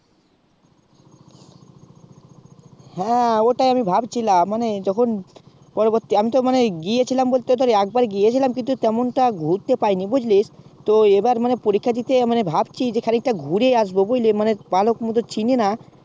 হ্যাঁ ওটাই আমি ভাবছিলাম মানে তখন পরবর্তী আমি তো মানে গিয়েছিলাম বলতে ধরে একবার গিয়েছিলাম কিন্তু তেমন টা ঘুরতে পাইনি বুজলি তো এবার মানে পরীক্ষা দিতে আমি ভাবছি যে খানিকটা ঘুরেই আসবো বুঝলি মানে ভালো মতো চিনি না